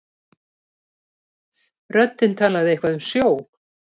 Röddin talaði eitthvað um sjó.